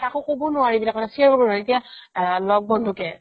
কাকো ক'ব নোৱাৰি এইবিলাক মানে share কৰিব নোৱাৰি এতিয়া অ লগ বন্ধুকে